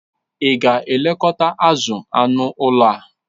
Ị ga-elekọta azụ anụ ụlọ a?